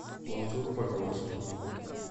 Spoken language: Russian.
мансур погромский